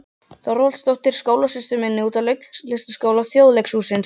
Þorvaldsdóttur, skólasystur sinni úr Leiklistarskóla Þjóðleikhússins.